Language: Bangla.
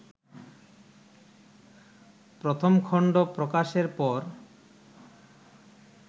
প্রথম খন্ড প্রকাশের পর